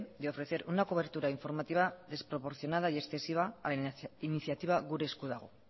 de ofrecer una cobertura informativa desproporcionada y excesiva a la iniciativa gure esku dago